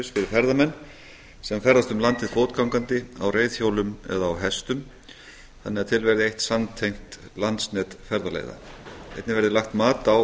fyrir ferðamenn sem ferðast um landið fótgangandi á reiðhjólum eða á hestum þannig að til verði eitt samtengt landsnet ferðaleiða einnig verði lagt mat á